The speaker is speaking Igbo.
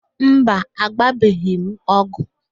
Mba, agbabeghị m ọgwụ